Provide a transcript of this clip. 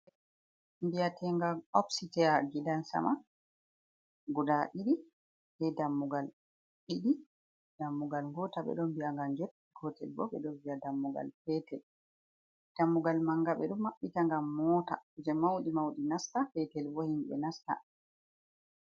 Mbiyaten' gal opstia gidansama guda ɗiɗi be dammugal ɗiɗi dammugal gotal ɓe ɗon biya ngal gett gotel bo ɓe ɗo viya dammugal petel, dammugal manga ɓe ɗo mabbita gam mota kuje mauɗi mauɗi nasta petel bo himɓe nasta.